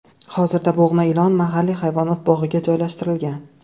Hozirda bo‘g‘ma ilon mahalliy hayvonot bog‘iga joylashtirilgan.